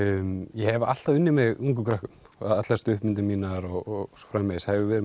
ég hef alltaf unnið með ungum krökkum allar stuttmyndir mínar og svo framvegis hef ég verið